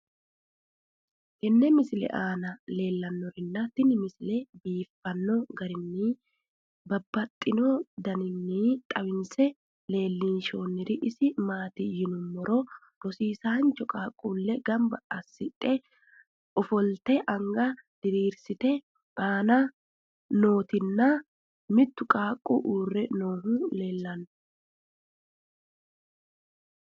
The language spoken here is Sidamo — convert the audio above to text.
tenne misile aana noorina tini misile biiffanno garinni babaxxinno daniinni xawisse leelishanori isi maati yinummoro rosiisancho qaaqqulle ganbba asidhdhe offolitte anga diriirisitte nootti nna mittu qaaqulli uure noohu leelittanno